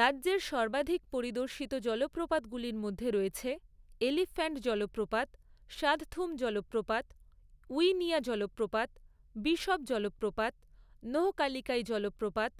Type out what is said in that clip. রাজ্যের সর্বাধিক পরিদর্শিত জলপ্রপাতগুলির মধ্যে রয়েছে এলিফ্যান্ট জলপ্রপাত, শাদথুম জলপ্রপাত, উইনিয়া জলপ্রপাত, বিশপ জলপ্রপাত, নোহ্‌কালিকাই জলপ্রপাত,